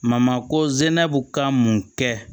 ko zɛnɛ bi ka mun kɛ